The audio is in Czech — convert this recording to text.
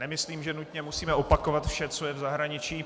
Nemyslím, že nutně musíme opakovat vše, co je v zahraničí.